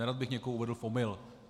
Nerad bych někoho uvedl v omyl.